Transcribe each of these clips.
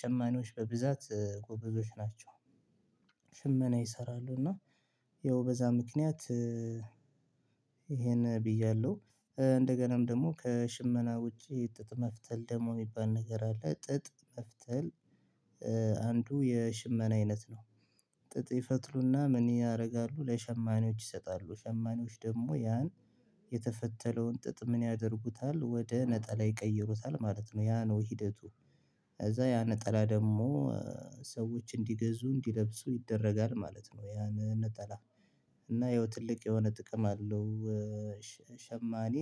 ሸማኔዎች በብዛት ጎበዞች ናቸው። ሽመና ይሰራሉ እና ያው በዛ ምክንያት ይሄን ብያለሁ እንደገናም ደግሞ ከሽመና ውጪ ጥጥ መፍተል ደግሞ የሚባል ነገር አለ ጥጥ መፍተል አንዱ የሽመና አይነት ነው። ጥጥ ይፈትሉና ምን ያደርጋሉ ለሸማኔዎች ይሰጣሉ ሸማኔዎች ደግሞ ያን የተፈተለውን ጥጥ ምን ያደርጉታል ወደ ነጠላ ይቀይሩታል ማለት ነው። ያ ነው ሂደቱ። ከዛ ያ ነጠላ ደግሞ ሰዎች እንዲገዙ እንዲለብሱ ይደረጋል ማለት ነው። ያን ነጠላ እና ይኸው ትልቅ የሆነ ጥቅም አለው። ሸማኔ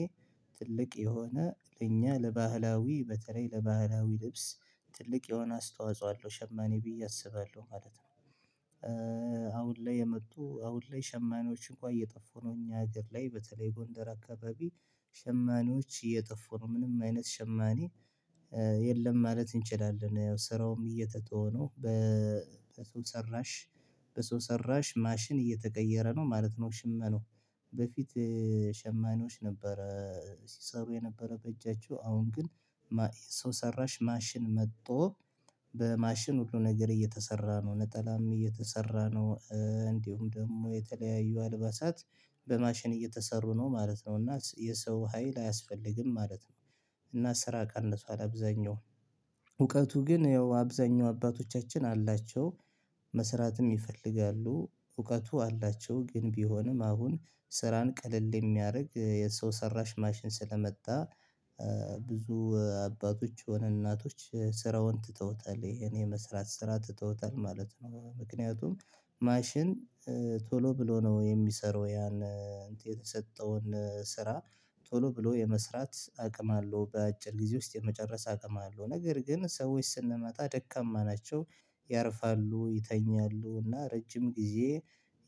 ትልቅ የሆነ ለእኛ ለባህላዊ በተለይ ለባህላዊ ልብስ ትልቅ የሆነ አስተዋጽኦ አለው ሸማኔ ብዬ አስባለሁ ማለት ነው። አሁን ላይ የመጡ አሁን ላይ ሸማኔዎች እንኳን እየጠፉ ነው እኛ ሀገር ላይ በተለይ ጎንደር አካባቢ ሸማኔዎች እየጠፉ ነው ምንም አይነት ሸማኔ የለም ማለት እንችላለን። ስራውም እየተተው ነው በሰው ሰራሽ በሰው ሰራሽ ማሽን እየተቀየረ ነው ማለት ነው። ሽመኑ በፊት ሸማኔዎች ነበረ ሲሰሩ የነበረ በእጃቸው አሁን ግን ሰው ሰራሽ ማሽን መጥቶ በማሽን ሁሉ ነገር እየተሰራ ነው ነጠላም እየተሰራ ነው። እንዲሁም ደግሞ የተለያዩ አልባሳት በማሽን እየተሰሩ ነው ማለት ነው። እና የሰው ሀይል አያስፈልግም ማለት ነው። እና ስራ ቀንሱሳል አብዛኛው እውቀቱ ግን ያው አብዛኛው አባቶቻችን አላቸው። መስራትም ይፈልጋሉ እውቀቱ አላቸው ግን ቢሆንም አሁን ስራን ቀለል የሚያርግ የሰው ሰራሽ ማሽን ስለመጣ። ብዙ አባቶች የሆነ እናቶች ስራውን ትተውታል ይሄን የመስራት ስራ ተውታል ማለት ነው። ምክንያቱም ማሽን ቶሎ ብሎ ነው የሚሰራው። ያን የተሰጠውን ስራ ቶሎ ብሎ የመስራት አቅም አለው በአጭር ጊዜ ውስጥ የመጨረስ አቅም አለው። ነገር ግን ሰዎች ስንመጣ ደካማ ናቸው። ያርፋሉ ይተኛሉ እና ረጅም ጊዜ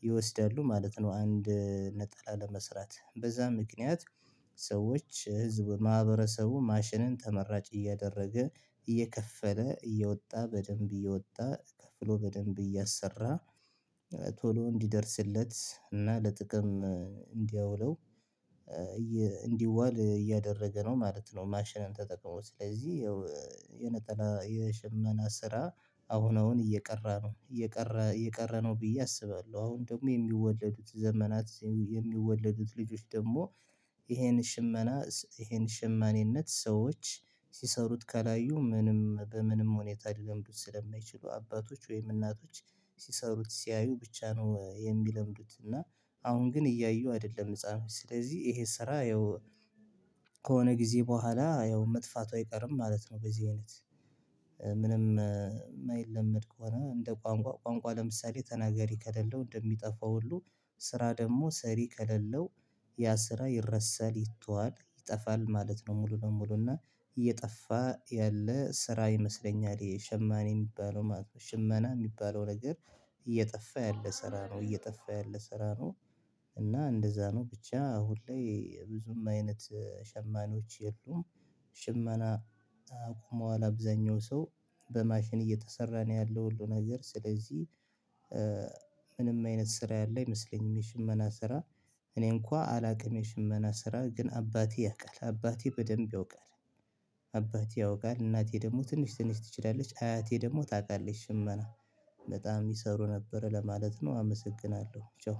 ይወስዳሉ ማለት ነው። አንድ ነጠላ ለመስራት በዛም ምክንያት ህዝብ ማህበረሰቡ ማሽንን ተመራጭ እያደረገ እየከፈለ እየወጣ በደንብ እየወጣ ከፍሎ በደንብ እያሰራ ቶሎ እንዲደርስለት እና ለጥቅም እንዲያውለው እንዲዋል እያደረገ ነው ማለት ነው። ማሽንን ተጠቅሞ ስለዚህ የሽመና ስራ አሁን አሁን እየቀረ ነው እየቀር እየቀረ ነው ብዬ አስባለሁ። አሁን ደግሞ የሚወለዱት ዘመናት የሚወለዱት ልጆች ደግሞ ይሄን ሽመና ይሄን ሽማኔት ሰዎች ሲሰሩት ካላዩ ምንም በምንም ሁኔታ ሊለምዱት ስለማይችሉ አባቶች ወይም እናቶች ሲሰሩት ሲያዩ ብቻ ነው የሚለምዱት እና አሁን ግን እያዩ አይደለም ህፃኖች ስለዚህ ይሄ ስራ ያው ከሆነ ጊዜ በኋላ ያው መጥፋቱ አይቀርም ማለት ነው። በዚሁ አይነት ምንም ማይለመድ ከሆነ እንደ ቋንቋ ቋንቋ ለምሳሌ ተናገሪ ከሌለው እንደሚጠፋው ሁሉ ስራ ደግሞ ሰሪ ከሌለው ያ ስራ ይረሰል ይተዋል ይጠፋል ማለት ነው። ሙሉ ለሙሉ እና እየጠፋ ያለ ስራ ይመስለኛል የሸማኔ የሚባለው ማለት ነው። ሽመና የሚባለው ነገር እየጠፋ ያለ ስራ ነው እየጠፋ ያለ ስራ ነው። እና እንደዛ ነው ብቻ ሁሌ ብዙም አይነት ሸማኔዎች የሉም። ሽመና ቆመዋል አብዛኛው ሰው በማሽን እየተሰራ ነው ያለው ሁሉ ነገር ስለዚህ። አይነት ስራ ያለ ይመስለኛል። የሽመና ስራ እኔኳ አላውቅም የሽመና ስራ ግን አባቴ ያውቃል አባቴ በደንብ ያውቃል። አባቴ ያውቃል እናቴ ደግሞ ትንሽ ትንሽ ትችላለች አያቴ ደግሞ ታውቃለች ሽመና በጣም ይሰሩ ነበር ለማለት ነው። አመሰግናለሁ።